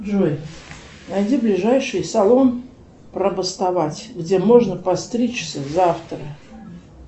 джой найди ближайший салон пробастовать где можно постричься завтра